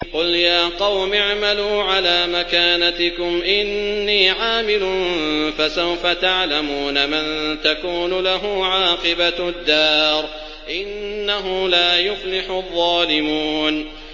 قُلْ يَا قَوْمِ اعْمَلُوا عَلَىٰ مَكَانَتِكُمْ إِنِّي عَامِلٌ ۖ فَسَوْفَ تَعْلَمُونَ مَن تَكُونُ لَهُ عَاقِبَةُ الدَّارِ ۗ إِنَّهُ لَا يُفْلِحُ الظَّالِمُونَ